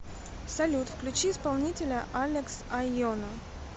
салют включи исполнителя алекс айоно